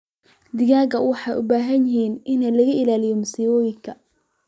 Digaagga waxay u baahan yihiin in laga ilaaliyo masiibooyinka.